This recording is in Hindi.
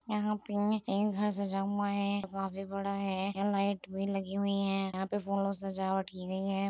यहाँ पे एक घर सजा हुआ है काफी बड़ा है यहाँ लाइट भी लगी हुई हैं यहाँ पे फूलों से सजावट की गई है।